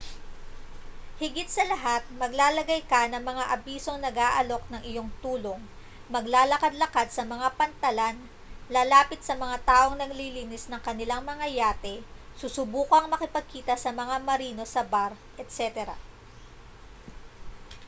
higit sa lahat maglalagay ka ng mga abisong nag-aalok ng iyong tulong maglalakad-lakad sa mga pantalan lalapit sa mga taong naglilinis ng kanilang mga yate susubukang makipagkita sa mga marino sa bar etc